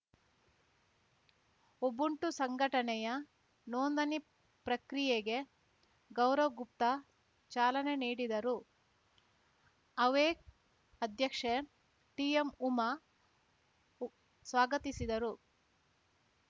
Ubuntu ಸಂಘಟನೆಯ ನೋಂದಣಿ ಪ್ರಕ್ರಿಯೆಗೆ ಗೌರವ್‌ಗುಪ್ತಾ ಚಾಲನೆ ನೀಡಿದರು ಅವೇಕ್ ಅಧ್ಯಕ್ಷೆ ಟಿಎಂ ಉಮಾ ಸ್ವಾಗತಿಸಿದರು